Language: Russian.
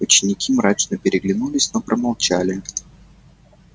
ученики мрачно переглянулись но промолчали